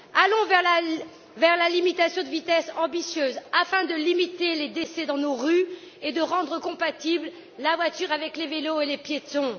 Allons vers la limitation de vitesse ambitieuse afin de limiter les décès dans nos rues et de rendre compatible la voiture avec les vélos et les piétons.